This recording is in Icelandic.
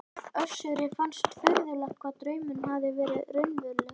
Össuri fannst furðulegt hvað draumurinn hafði verið raunverulegur.